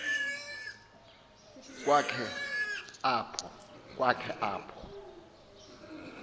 kwa khe apho